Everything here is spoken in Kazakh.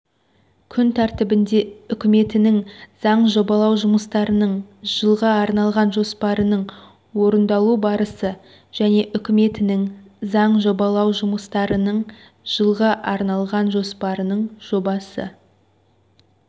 күн тәртібінде үкіметінің заң жобалау жұмыстарының жылға арналған жоспарының орындалу барысы және үкіметінің заң жобалау жұмыстарының жылға арналған жоспарының жобасы